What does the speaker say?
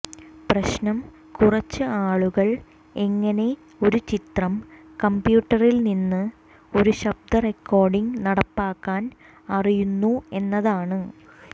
പ്രശ്നം കുറച്ച് ആളുകൾ എങ്ങനെ ഒരു ചിത്രം കമ്പ്യൂട്ടറിൽ നിന്ന് ഒരു ശബ്ദ റെക്കോർഡിംഗ് നടപ്പാക്കാൻ അറിയുന്നു എന്നതാണ്